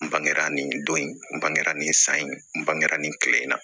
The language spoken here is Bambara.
N bangera nin don in n bangela nin san in n bangera nin kile in na